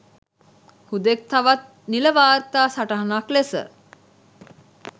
හුදෙක් තවත් නිල වාර්තා සටහනක් ලෙස